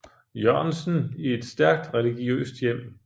Jørgensen i et stærkt religiøst hjem